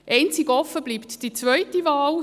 Einzig die zweite Wahl bleibt offen.